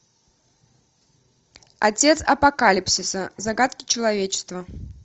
отец апокалипсиса загадки человечества